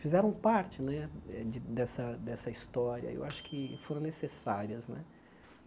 fizeram parte né eh de dessa dessa história e eu acho que foram necessárias né.